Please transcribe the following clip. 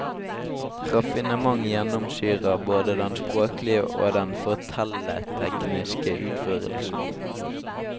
Raffinement gjennomsyrer både den språklige og den fortelletekniske utførelsen.